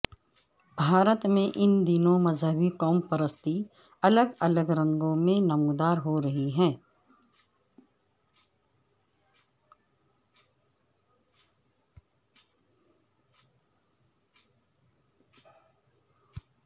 بھارت میں ان دنوں مذہبی قوم پرستی الگ الگ رنگوں میں نمودار ہو رہی ہے